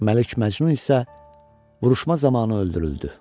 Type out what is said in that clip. Məlik Məcnun isə vuruşma zamanı öldürüldü.